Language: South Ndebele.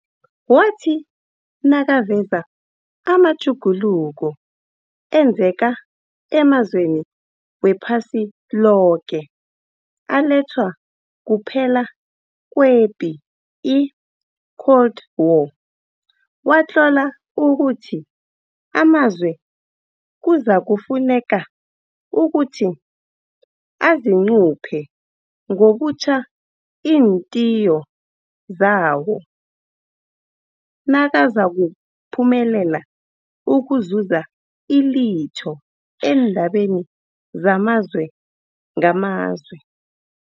Wathi nakaveza amatjhuguluko enzeka emazweni wephasi loke alethwa kuphela kwepi i-Cold War, watlola ukuthi amazwe kuzakufuneka ukuthi azicuphe ngobutjha iinthiyo zawo nakazakuphumelela ukuzuza ilitho eendabeni zamazwe ngamazwe.